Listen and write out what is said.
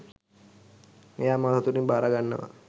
එය මා සතුටින් භාරගන්නවා.